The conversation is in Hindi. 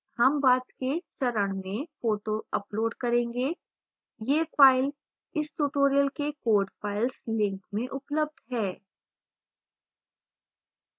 हम बाद के चरण में फोटो अपलोड करेंगे यह फाइल इस tutorial के code files link में उपलब्ध है